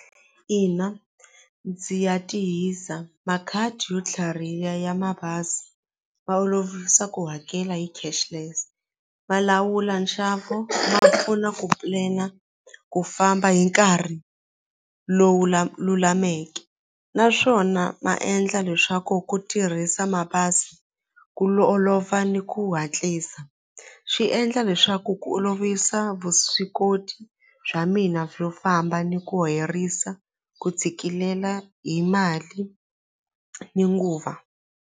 Ina ndzi ya tihisa makhadi yo tlhariha ya mabazi ma olovisa ku hakela hi cashless ma lawula nxavo ma pfuna ku plan-a ku famba hi nkarhi lowu lulameke naswona ma endla leswaku ku tirhisa mabazi ku olova ni ku hatlisa swi endla leswaku ku olovisa vuswikoti bya mina byo famba ni ku herisa ku tshikilela hi mali ni nguva.